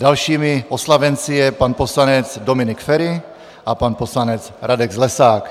Dalšími oslavenci jsou pan poslanec Dominik Feri a pan poslanec Radek Zlesák.